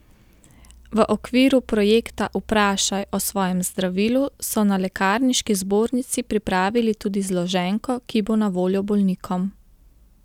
V okviru projekta Vprašaj o svojem zdravilu so na Lekarniški zbornici pripravili tudi zloženko, ki bo na voljo bolnikom.